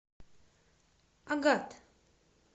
агат